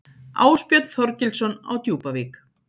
Ásbjörn Þorgilsson á Djúpavík